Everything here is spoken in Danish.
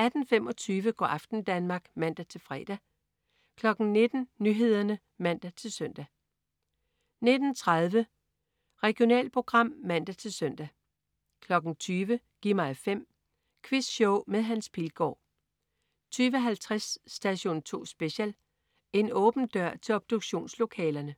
18.25 Go' aften Danmark (man-fre) 19.00 Nyhederne (man-søn) 19.30 Regionalprogram (man-søn) 20.00 Gi' mig 5. Quizshow med Hans Pilgaard 20.50 Station 2 Special. En åben dør til obduktionslokalerne